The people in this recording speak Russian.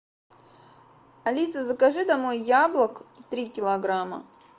алиса закажи домой яблок три килограмма